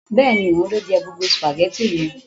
Bẹ́ẹ̀ni, ohun lo je gbogbo spaghetti yen